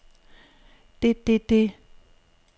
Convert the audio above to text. det det det